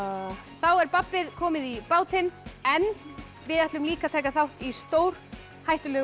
þá er babbið komið í bátinn en við ætlum líka að taka þátt í stórhættulegu